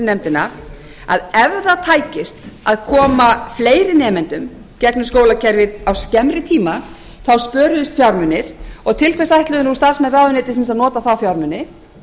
nefndina að ef það tækist að koma fleiri nemendum í gegnum skólakerfið á skemmri tíma þá spöruðust fjármunir og til hvers ætluðu nú starfsmenn ráðuneytisins að nota þá fjármuni